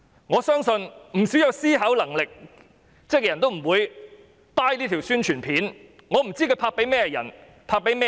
我相信不少有思考能力的人均不會認同這條宣傳短片，我真的不知道它是要拍給甚麼人看。